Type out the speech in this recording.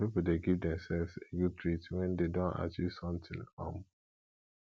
some pipo de give themselves a good treat when dem don achieve something um